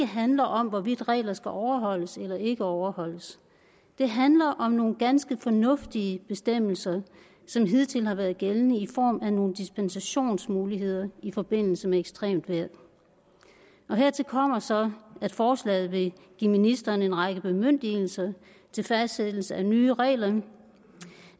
handler om hvorvidt regler skal overholdes eller ikke overholdes det handler om nogle ganske fornuftige bestemmelser som hidtil har været gældende i form af nogle dispensationsmuligheder i forbindelse med ekstremt vejr hertil kommer så at forslaget vil give ministeren en række bemyndigelser til fastsættelse af nye regler om